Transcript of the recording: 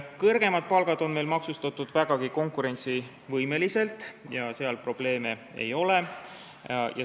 Kõrgemad palgad on meil maksustatud vägagi konkurentsivõimeliselt ja seal probleeme ei ole.